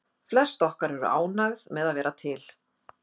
Flest okkar eru ánægð með að vera til.